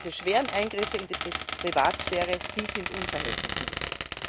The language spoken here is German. Diese schweren Eingriffe in die Privatsphäre, sind unverhältnismäßig.